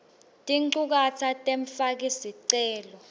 tinchukaca temfaki sicelo